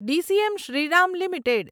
DCM Shriram limited